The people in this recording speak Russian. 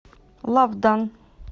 лавдан